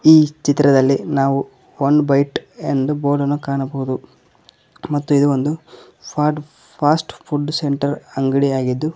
ಚಿತ್ರದಲ್ಲಿ ನಾವು one byte ಎಂದು ಬೋಡನ್ನು ಕಾಣಬಹುದು ಮತ್ತು ಇದು ಒಂದು ಫಾಸ್ಟ್ ಫುಡ್ ಸೆಂಟರ್ ಅಂಗಡಿಯಾಗಿದ್ದು --